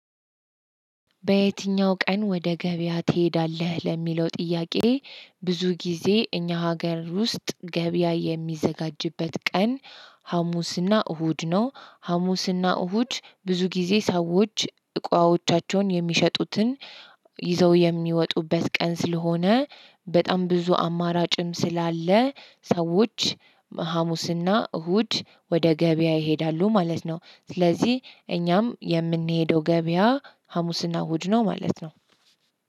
በየትኛው ቀን ወደ ገበያ ትሄዳለህ? ለሚለው ጥያቄ ብዙ ጊዜ እኛ ሀገር ውስጥ ገበያ የሚዘጋጅበት ቀን ሀሙስና እሁድ ነው ሀሙስና እሁድ ብዙ ጊዜ ሰዎች እቃዎቻቸውን የሚሸጡትን ይዘው የሚወጡበት ቀን ስለሆነ በጣም ብዙ አማራጭም ስላለ ሰዎች ሀሙስና እሁድ ወደ ገበያ ይሄዳሉ ማለት ነው። ስለዚህ እኛም የምንሄደው ገበያ ሀሙስና እሁድ ነው ማለት ነው።